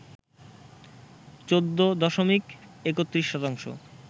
১৪ দশমিক ৩১ শতাংশ